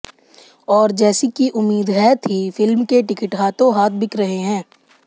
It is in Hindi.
और जैसी कि उम्मीद है थी फिल्म के टिकट हाथों हाथ बिक रहे हैं